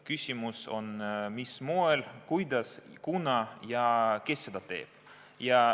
Küsimus on, mis moel, kuidas, kunas ja kes seda teeb.